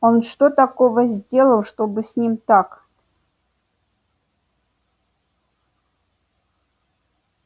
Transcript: он что такого сделал чтобы с ним так